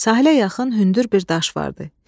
Sahilə yaxın hündür bir daş vardı.